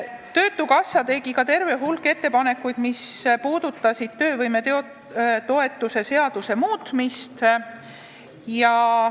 Töötukassa tegi terve hulga muudatusettepanekuid, mis puudutasid töövõimetoetuse seaduse muutmist.